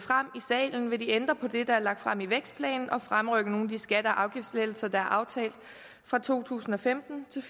salen vil de ændre på det der er lagt frem i vækstplanen og fremrykke nogle af de skatte og afgiftslettelser der er aftalt fra to tusind og femten til